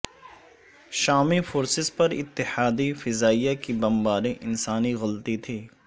شامی فورسز پر اتحادی فضائیہ کی بمباری انسانی غلطی تھی